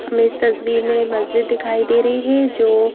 हमें इस तस्वीर में मस्जिद दिखाई दे रही है जो--